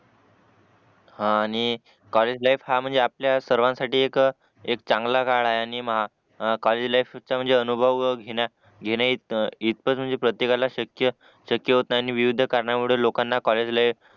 हा आणि college life हा म्हणजे हा आपल्यासर्वांसाठी एक चांगला काळ आहे आणि महा कॉलेज लाईफ सुद्धा अनुभव घेण्या घेण्या इतक प्रत्येकाला शक्य शक्य होत नाही आणि विविध कारणामुळे लोकांना कॉलेज लाईफ